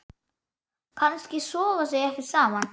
Kannski sofa þau ekkert saman?